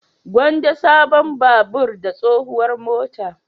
Gwanda sabon babur da tsohuwar mota.